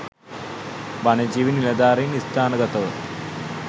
වනජීවි නිලධාරින් ස්ථානගතව